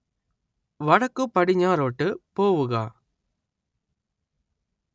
വടക്കുപടിഞ്ഞാറോട്ട് പോവുക